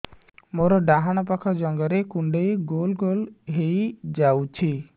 ମୋର ଡାହାଣ ପାଖ ଜଙ୍ଘରେ କୁଣ୍ଡେଇ ଗୋଲ ଗୋଲ ହେଇଯାଉଛି